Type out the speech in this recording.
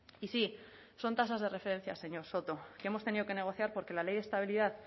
y sí son tasas de referencia señor soto que hemos tenido que negociar porque la ley de estabilidad